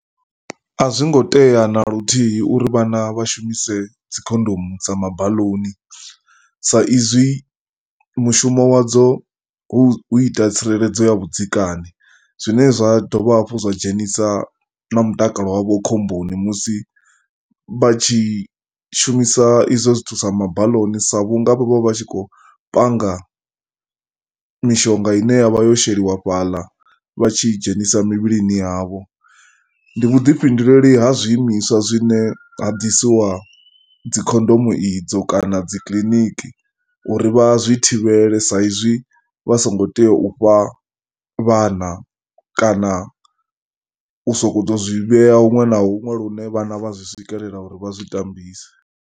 A zwo ngo tea na luthihi uri vhana vha shumise dzi khondomu dza mabaḽuni saizwi mushumo wadzo hu ita tsireledzo ya vhudzekani. Zwi dovha hafhu zwa dzhenisa na mutakalo wavho khomboni musi vha tshi shumisa izwo zwithu sa mabaḽoni sa vhu nga vho vha vha tshi khou panga mishonga i ne i vha yo sheliwa fhaḽa vha tshi dzhenisa mivhilini yavho. Ndi vhuḓifhinduleli ha zwiimiswa zwine ha ḓisiwa dzi khondomo idzo kana dzi kiliniki uri vha zwi thivhele saizwi vha songo tea u fha vhana kana u sokou tou zwi vhea huṅwe na huṅwe lune vhana vha zwi swi kelela uri vha zwi tambise.